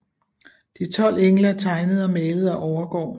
De 12 engle tegnet og malet af Overgaard